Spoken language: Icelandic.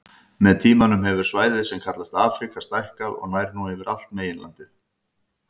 Með tímanum hefur svæðið sem kallast Afríka stækkað og nær nú yfir allt meginlandið.